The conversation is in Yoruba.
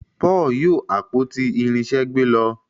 Paul yóò àpótí irinṣẹ gbé ló.